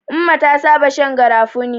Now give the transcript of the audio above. Umma ta saba shan garafuni.